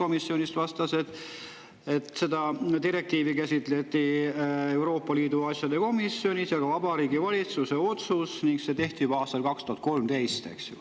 Aive Telling vastas sotskomisjonis, et seda direktiivi käsitleti Euroopa Liidu asjade komisjonis ja ka Vabariigi Valitsuses ning otsus tehti juba aastal 2013.